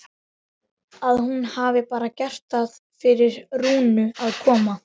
Að hún hafi bara gert það fyrir Rúnu að koma.